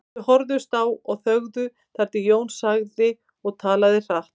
Þau horfðust á og þögðu þar til Jón sagði og talaði hratt